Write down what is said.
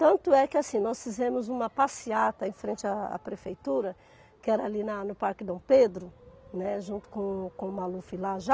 Tanto é que assim, nós fizemos uma passeata em frente a à prefeitura, que era ali na no Parque Dom Pedro, né, junto com o Maluf lá já.